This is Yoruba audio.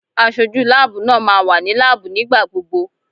Aṣojú láàbù náà máa wà ní láàbù nígbà gbogbo.